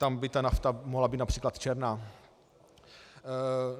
Tam by ta nafta mohla být například černá.